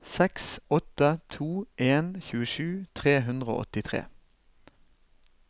seks åtte to en tjuesju tre hundre og åttitre